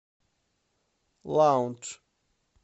лаундж